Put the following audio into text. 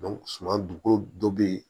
suman duko dɔ be yen